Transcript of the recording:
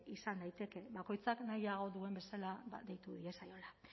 izan daiteke bakoitzak nahiago duen bezala deitu diezaiola